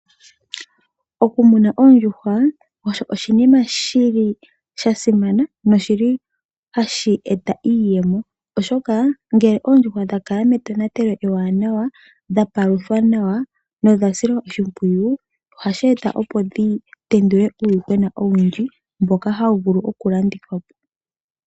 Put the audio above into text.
Okumuna oondjuhwa osho oshinima shili sha simana noshili hashi eta iiyemo , oshoka ngele oondjuhwa dha kala metonatelo ewanawa, dhapaluthwa nawa nodha silwa oshipwiyu ohashi eta opo dhi tendule uuyuhwena owundji mboka hawu vulu okulandithwa po.